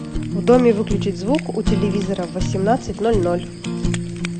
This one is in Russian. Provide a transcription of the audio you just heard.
в доме выключить звук у телевизора в восемнадцать ноль ноль